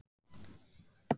spyr ég og geng að glugganum.